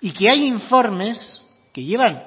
y que hay informes que llevan